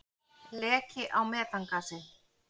Leki á metangasi.